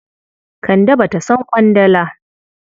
Kande ba ta son ƙwandala.